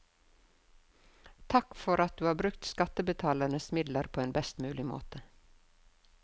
Takk for at du har brukt skattebetalernes midler på en best mulig måte.